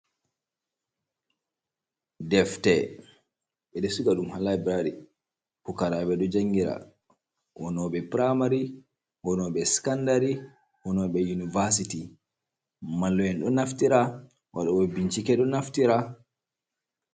Defte ɓeɗo siga ɗum ha laibrari. Pukarabe ɗo jangira, woni ɓe primari, woni ɓe scandari, woni ɓe univasiti, mallu’en ɗo naftira, waɗɗo ɓe bincike ɗon naftira.